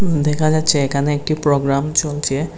উম দেখা যাচ্ছে এখানে একটি প্রোগ্রাম চলছে।